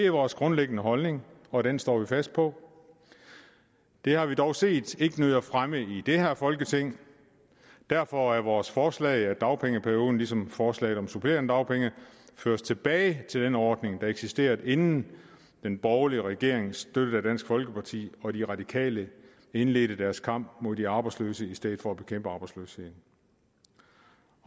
er vores grundlæggende holdning og den står vi fast på det har vi dog set ikke nyder fremme i det her folketing derfor er vores forslag at dagpengeperioden ligesom forslaget om supplerende dagpenge føres tilbage til den ordning der eksisterede inden den borgerlige regering støttet af folkeparti og de radikale indledte deres kamp mod de arbejdsløse i stedet for at bekæmpe arbejdsløsheden